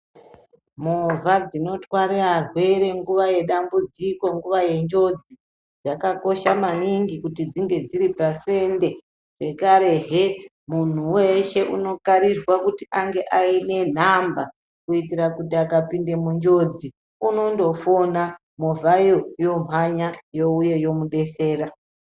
Movha dzinotarwe varwere ngava dzedambudziko ,nguva dzenjodzi, dzakakosha mwaningi kuti dzinge dziri pasende .Zvekarehe muntu unokarirwa kunge aine nhamba ,kuitira akapunda munjodzi unongofona ,movha yo yomhanya youya yomudetsera.